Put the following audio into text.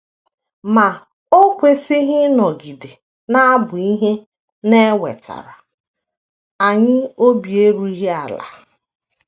Ma o kwesịghị ịnọgide na - abụ ihe na - ewetara anyị obi erughị ala.